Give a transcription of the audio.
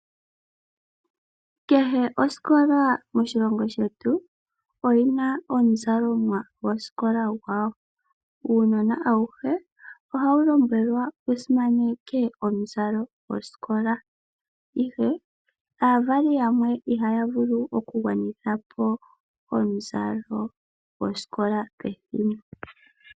Kehe osikola moshilongo shetu, oyina omuzalomwa gwosikola gwao. Uunona awuhe oha wulombwelwa wusimaneke omuzalo gwosikola, ihe aavali yamwe iha ya vulu oku gwanithapo omuzalo gwosikola pethimbo.